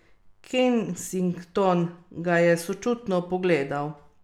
Kensington ga je sočutno pogledal.